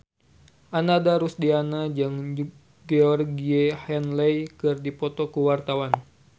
Ananda Rusdiana jeung Georgie Henley keur dipoto ku wartawan